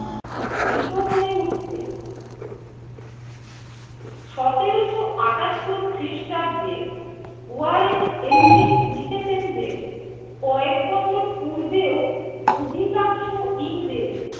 ভীত হয়ে উঠতেন। সতেরোশো আটাত্তর খ্রিস্টাব্দে ওয়ারেন হেস্টিংস লিখেছেন যে কয়েক বছর পূর্বেও অধিকাংশ ইংরেজ